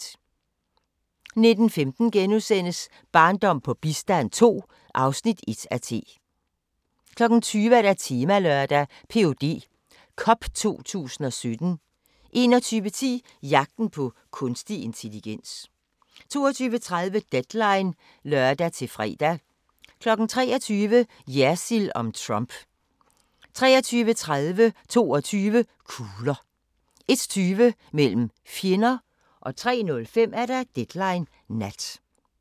19:15: Barndom på bistand II (1:2)* 20:00: Temalørdag: Ph.d. Cup 2017 21:10: Jagten på kunstig intelligens 22:30: Deadline (lør-fre) 23:00: Jersild om Trump 23:30: 22 kugler 01:20: Mellem fjender 03:05: Deadline Nat